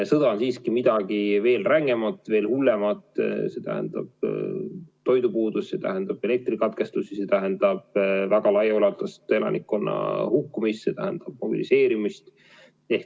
Sõda on siiski midagi veel rängemat, veel hullemat – see tähendab toidupuudust, see tähendab elektrikatkestusi, see tähendab väga laialdast elanikkonna hukkumist, see tähendab mobiliseerimist.